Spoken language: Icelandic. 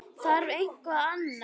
Þarf eitthvað annað?